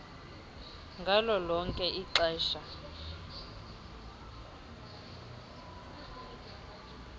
ngalo lonke ixesha